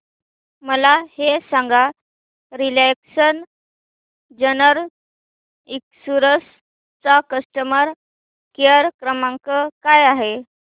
मला हे सांग रिलायन्स जनरल इन्शुरंस चा कस्टमर केअर क्रमांक काय आहे